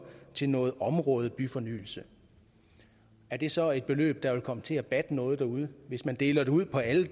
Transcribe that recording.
til noget områdebyfornyelse er det så et beløb der vil komme til at batte noget derude hvis man deler det ud på alle